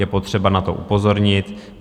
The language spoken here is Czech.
Je potřeba na to upozornit.